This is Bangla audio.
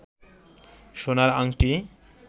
সোনার আংটি